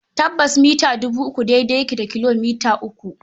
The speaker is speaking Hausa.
Tabbas, mita dubi uku daidai yake da kilomita uku.